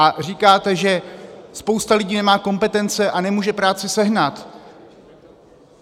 A říkáte, že spousta lidí nemá kompetence a nemůže práci sehnat.